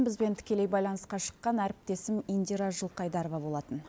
бізбен тікелей байланысқа шыққан әріптесім индира жылқайдарова болатын